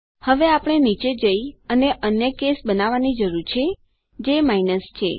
હવે આપણે નીચે જઈ અને અન્ય કેસ બનાવવાની જરૂર છે જે માઇનસ છે